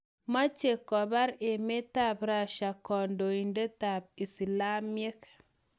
Mache kopar emetap Russia kandoindet ap islamiek